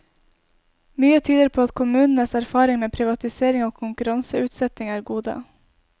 Mye tyder på at kommunenes erfaring med privatisering og konkurranseutsetting er gode.